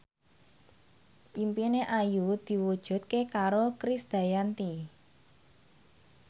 impine Ayu diwujudke karo Krisdayanti